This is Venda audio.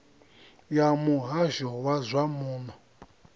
ya muhasho wa zwa muno